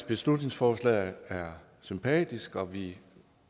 beslutningsforslaget er sympatisk og vi